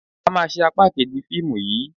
A máa ṣe apá kejì fíìmù yìí.